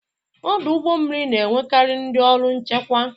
Ọdụ ụgbọ mmiri na-enwekarị ndị ọrụ nchekwa.